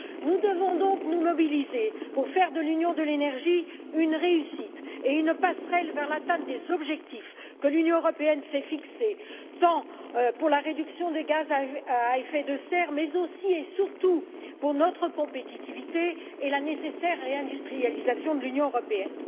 Nous devons donc nous mobiliser pour faire de l'Union de l'énergie une réussite et une passerelle vers l'atteinte des objectifs que l'Union européenne s'est fixés, à la fois pour la réduction des gaz à effet de serre et, aussi et surtout, pour notre compétitivité et la nécessaire réindustrialisation de l'Union européenne.